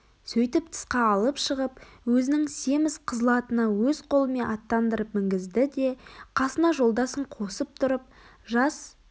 сөйтіп тысқа алып шығып өзінің семіз қызыл атына өз қолымен аттандырып мінгізді де қасына жолдасын қосып тұрып жас